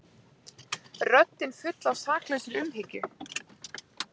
Röddin full af saklausri umhyggju.